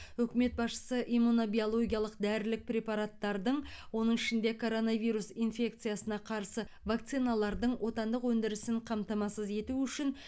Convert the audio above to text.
үкімет басшысы иммунобиологиялық дәрілік препараттардың оның ішінде коронавирус инфекциясына қарсы вакциналардың отандық өндірісін қамтамасыз ету үшін